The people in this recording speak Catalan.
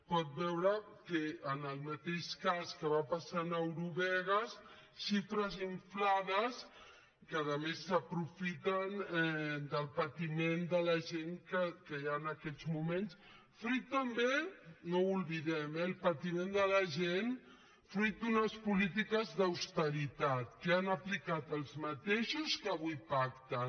pot veure que en el mateix cas que va passar amb eurovegas xifres inflades que a més s’aprofiten del patiment de la gent que hi ha en aquests moments fruit també no ho oblidem eh el patiment de la gent fruit d’unes polítiques d’austeritat que han aplicat els mateixos que avui pacten